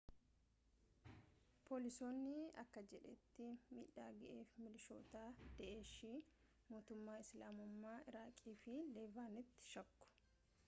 poolisiin akka jedhetti miidhaa gaheef milishoota daa’eshii mootummaa isilaamummaa iraaqii fi leevaant shakku